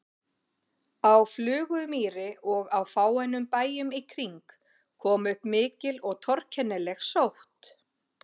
Á Flugumýri og á fáeinum bæjum í kring kom upp mikil og torkennileg sótt.